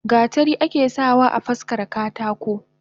Gatari ake sa wa afaskara katako.